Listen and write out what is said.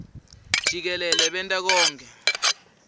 jikelele benta konkhe